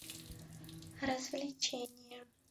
развлечения